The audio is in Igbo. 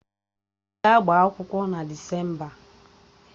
Ọ ga-agba akwụkwọ na Desemba?